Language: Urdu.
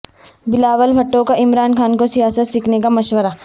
بلاول بھٹو کا عمران خان کو سیاست سیکھنے کا مشورہ